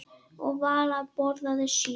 Og Vala borðaði sjö.